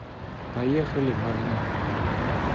поехали магнит